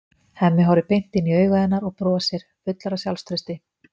Hemmi horfir beint inn í augu hennar og brosir, fullur af sjálfstrausti.